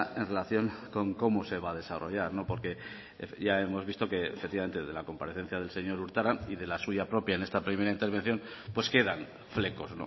en relación con cómo se va a desarrollar porque ya hemos visto que efectivamente de la comparecencia del señor urtaran y de la suya propia en esta primera intervención pues quedan flecos